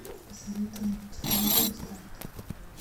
посоветуй мне на телевизоре старт